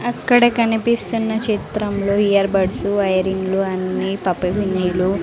అక్కడ కనిపిస్తున్న చిత్రంలో ఇయర్ బర్డ్స్ ఐ రింగులు అన్నీ పప్పి పిన్నులు --